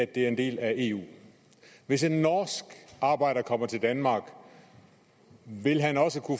det er en del af eu hvis en norsk arbejder kommer til danmark vil han også